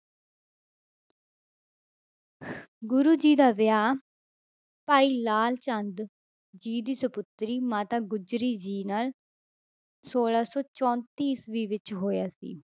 ਗੁਰੂ ਜੀ ਦਾ ਵਿਆਹ ਭਾਈ ਲਾਲ ਚੰਦ ਜੀ ਦੀ ਸਪੁੱਤਰੀ ਮਾਤਾ ਗੁਜਰੀ ਜੀ ਨਾਲ ਛੋਲਾਂ ਸੌ ਚੌਂਤੀ ਈਸਵੀ ਵਿੱਚ ਹੋਇਆ ਸੀ